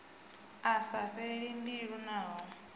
a sa fheli mbilu naho